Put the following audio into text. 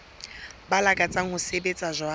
ba lakatsang ho sebetsa jwalo